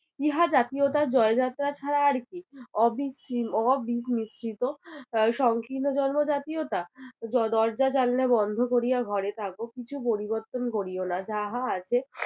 ইহা জাতীয়তার জয়যাত্রা ছাড়া আর কি? অবিস্মি~ অবিমিশ্রিত সংকীর্ণ জন্ম জাতীয়তা! দরজা জানলা বন্ধ করিয়া ঘরে থাকো কিছু পরিবর্তন কোরিও না যাহা আছে